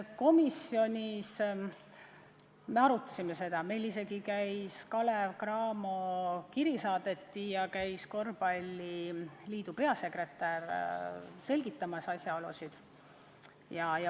Komisjonis me seda arutasime, meile saadeti isegi Kalev Cramost kiri ja korvpalliliidu peasekretär käis asjaolusid selgitamas.